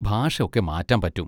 ഭാഷ ഒക്കെ മാറ്റാൻ പറ്റും.